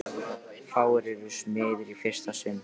Fáir eru smiðir í fyrsta sinn.